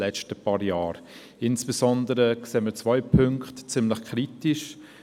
Insbesondere sehen wir zwei Punkte ziemlich kritisch: